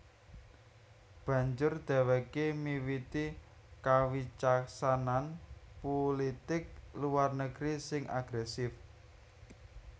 Banjur dhèwèké miwiti kawicaksanan pulitik luar negeri sing agrèsif